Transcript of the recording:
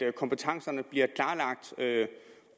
at kompetencerne bliver klarlagt